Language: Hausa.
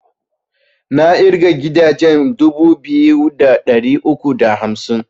Na ƙirga gidaje dubu biyu da ɗari uku da hamsin